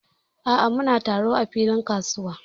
A'a, muna taro a filin kasuwa.